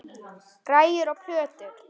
Græjur og plötur.